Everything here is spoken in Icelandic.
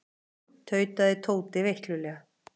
Komdu inn tautaði Tóti veiklulega.